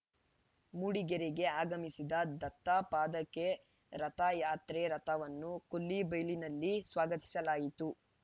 ಮೂಡಿಗೆರೆಗೆ ಆಗಮಿಸಿದ ದತ್ತಪಾದಕೆ ರಥಯಾತ್ರೆ ರಥವನ್ನು ಕೊಲ್ಲಿಬೈಲಿನಲ್ಲಿ ಸ್ವಾಗತಿಸಲಾಯಿತು